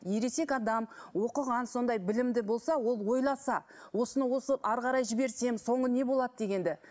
ересек адам оқыған сондай білімді болса ол ойласа осыны осы әрі қарай жіберсем соңы не болады дегенді